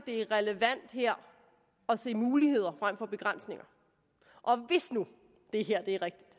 er relevant her at se muligheder frem for begrænsninger og hvis nu det her er rigtigt